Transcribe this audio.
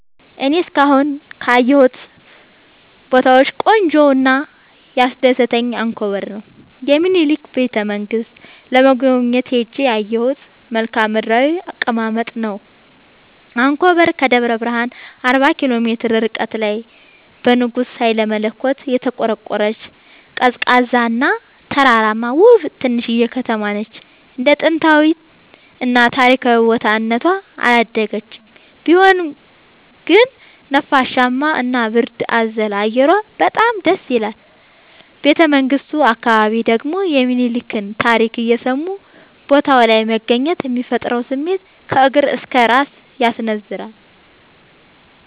እኔ እስካሁን ካየሁት ቦታወች ቆንጆው እና ያስደሰተኝ አንኮበር የሚኒልክን ቤተ-መንግስት ለመጎብኘት ሄጄ ያየሁት መልከአ ምድራዊ አቀማመጥ ነው። አንኮበር ከደብረ ብረሃን አርባ ኪሎ ሜትር ርቀት ላይ በንጉስ ሀይለመለኮት የተቆረቆረች፤ ቀዝቃዛ እና ተራራማ ውብ ትንሽዬ ከተማነች እንደ ጥንታዊ እና ታሪካዊ ቦታ እነቷ አላደገችም ቢሆንም ግን ነፋሻማ እና ብርድ አዘል አየሯ በጣም ደስይላል። ቤተመንግቱ አካባቢ ደግሞ የሚኒልክን ታሪክ እየሰሙ ቦታው ላይ መገኘት የሚፈጥረው ስሜት ከእግር እስከ እራስ ያስነዝራል።